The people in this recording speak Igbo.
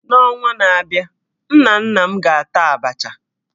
N'ọnwa na-abịa, nna nna m ga-ata Abacha